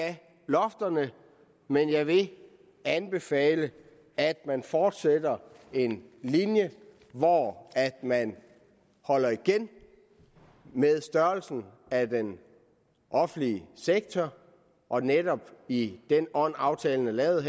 lofterne men jeg vil anbefale at man fortsætter en linje hvor man holder igen med størrelsen af den offentlige sektor og netop i den ånd aftalen er lavet i